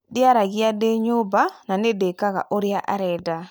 Ndĩaragia ndĩ nyũmba na nĩ ndĩkega ũrĩa arenda